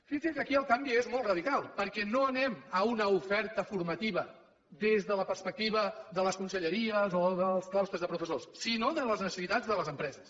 fixi’s que aquí el canvi és molt radical perquè no anem a una oferta formativa des de la perspectiva de les conselleries o dels claustres de professors sinó de les necessitats de les empreses